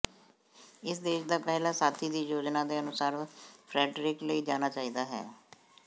ਇਸ ਦੇਸ਼ ਦਾ ਪਹਿਲਾ ਸਾਥੀ ਦੀ ਯੋਜਨਾ ਦੇ ਅਨੁਸਾਰ ਫਰੈਡਰਿਕ ਲਈ ਜਾਣਾ ਚਾਹੀਦਾ ਹੈ